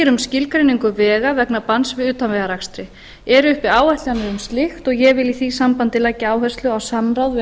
um skilgreiningu vegna vegna banns við utanvegaakstri eru uppi áætlanir um slíkt og ég vil í því sambandi leggja áherslu á samráð við